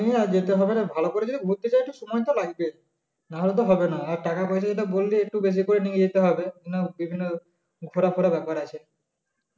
নিয়ে আর যেতে হবে ভালো করে যদি ঘুরতে চাই তো সময় তো লাগবেই নাহলে তো হবে না আর টাকা পয়সা যেটা বললে একটু বেশি করে নিয়ে যেতে হবে বিভিন্ন ঘোরাফোরা ব্যাপার আছে